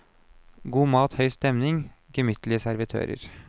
God mat, høy stemning, gemyttlige servitører.